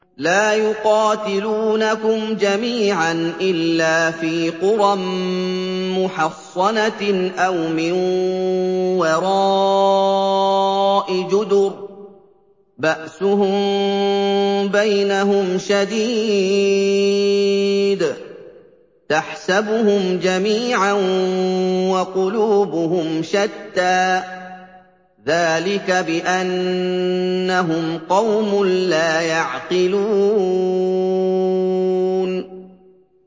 لَا يُقَاتِلُونَكُمْ جَمِيعًا إِلَّا فِي قُرًى مُّحَصَّنَةٍ أَوْ مِن وَرَاءِ جُدُرٍ ۚ بَأْسُهُم بَيْنَهُمْ شَدِيدٌ ۚ تَحْسَبُهُمْ جَمِيعًا وَقُلُوبُهُمْ شَتَّىٰ ۚ ذَٰلِكَ بِأَنَّهُمْ قَوْمٌ لَّا يَعْقِلُونَ